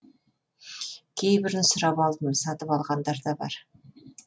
кейбірін сұрап алдым сатып алынғандар бар